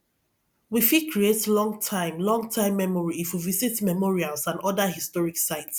we fit create long time long time memory if we visit memorials and oda historic sites